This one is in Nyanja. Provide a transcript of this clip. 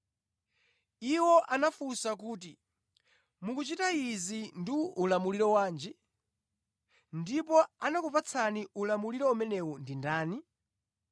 Iwo anafunsa kuti, “Mukuchita izi ndi ulamuliro wanji? Ndipo anakupatsani ulamuliro umenewu ndi ndani?”